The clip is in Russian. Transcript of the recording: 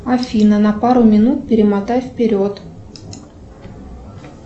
афина на пару минут перемотай вперед